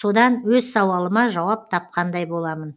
содан өз сауалыма жауап тапқандай боламын